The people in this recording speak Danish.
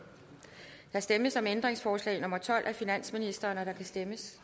der stemmes om ændringsforslag nummer tolv af finansministeren og der kan stemmes